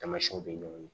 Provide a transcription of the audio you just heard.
Tamasiyɛnw bɛ ɲɔngiri